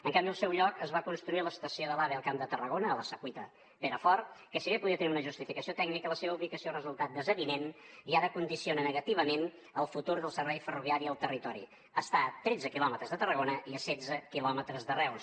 en canvi al seu lloc es va construir l’estació de l’ave al camp de tarragona a la secuita perafort que si bé podia tenir una justificació tècnica la seva ubicació ha resultat desavinent i ara condiciona negativament el futur del servei ferroviari al territori està a tretze quilòmetres de tarragona i a setze quilòmetres de reus